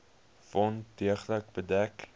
wond deeglik bedek